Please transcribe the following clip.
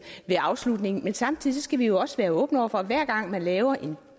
ved afslutningen men samtidig skal vi jo også være åbne over for at hver gang man laver en